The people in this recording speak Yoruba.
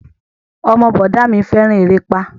Ọmọ bọ̀dá a mi fẹ́ràn erépá